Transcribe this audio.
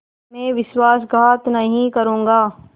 मैं विश्वासघात नहीं करूँगा